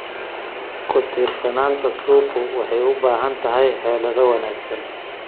Ku-tiirsanaanta suuqu waxay u baahan tahay xeelado wanaagsan.